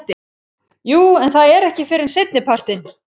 Jú en það er ekki fyrr en seinnipartinn.